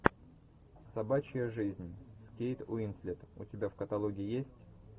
собачья жизнь с кейт уинслет у тебя в каталоге есть